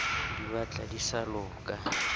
di batla di sa loka